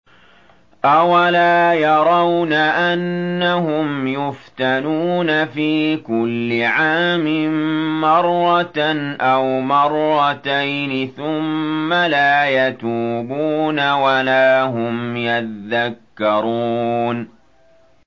أَوَلَا يَرَوْنَ أَنَّهُمْ يُفْتَنُونَ فِي كُلِّ عَامٍ مَّرَّةً أَوْ مَرَّتَيْنِ ثُمَّ لَا يَتُوبُونَ وَلَا هُمْ يَذَّكَّرُونَ